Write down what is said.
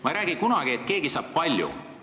Ma ei räägi kunagi, et keegi saab palju.